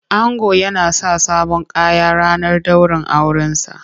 Ango yana sa sabon Kaya ranar daurin aure sa.